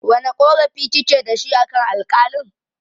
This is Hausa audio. Wane ƙorafi kike dashi akan Alƙalin?